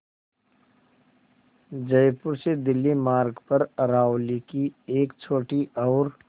जयपुर से दिल्ली मार्ग पर अरावली की एक छोटी और